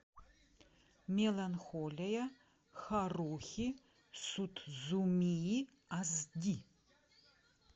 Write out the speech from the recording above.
меланхолия харухи судзумии ас ди